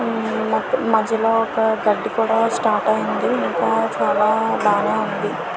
మధ్యలో ఒక గండి కూడా స్టార్ట్ అయింది మొత్తం చాలా బానే ఉంది.